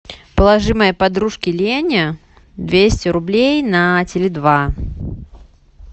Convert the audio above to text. положи моей подружке лене двести рублей на теле два